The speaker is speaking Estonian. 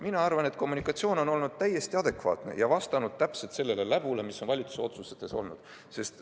Mina arvan, et kommunikatsioon on olnud täiesti adekvaatne ja vastanud täpselt sellele läbule, mis on olnud valitsuse otsustes.